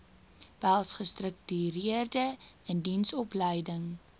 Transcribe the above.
behels gestruktureerde indiensopleiding